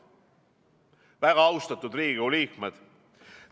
Väga austatud Riigikogu liikmed!